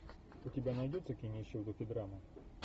у тебя найдется кинище в духе драма